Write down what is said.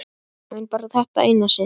En bara þetta eina sinn.